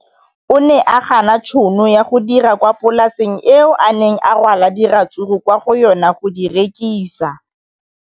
O ne a gana tšhono ya go dira kwa polaseng eo a neng rwala diratsuru kwa go yona go di rekisa.